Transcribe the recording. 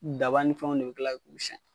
Daba ni fɛnw de bɛ kila k'u siyan.